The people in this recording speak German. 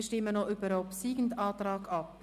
Wir stimmen noch über den obsiegenden Antrag ab.